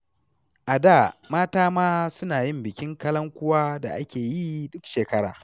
A da mata ma suna yin bikin kalankuwa da ake yi duk shekara.